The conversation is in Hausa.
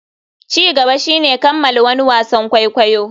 Ci gaba shine kammala wani wasan kwaikwayo.